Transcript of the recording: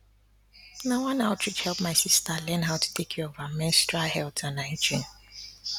na one outreach help my sister learn how to take care of her menstrual health and hygiene